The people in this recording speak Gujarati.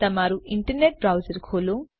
તમારું ઇન્ટરનેટ બ્રાઉઝર ખોલો